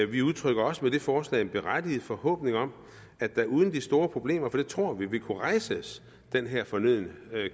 vi udtrykker også med det forslag en berettiget forhåbning om at der uden de store problemer det tror vi ville kunne rejses den her fornødne